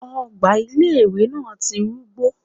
Ogbà ilé ìwé náà ti kúngbó